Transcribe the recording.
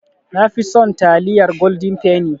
Nafi son taliyar Golden penny